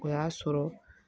O y'a sɔrɔ